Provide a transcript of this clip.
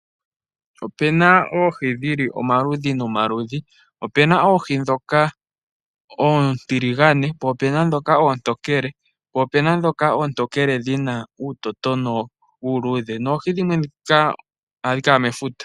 Opu na oohi dhomaludhi nomaludhi. Opu na oontiligane, oontokele noontokele dhina uutotona uuludhe na ohadhi adhika mefuta.